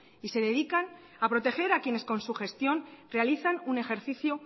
y se dedican a proteger a quienes con su gestión realizan un ejercicio